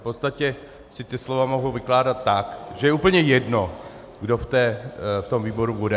V podstatě se ta slova mohou vykládat tak, že je úplně jedno, kdo v tom výboru bude.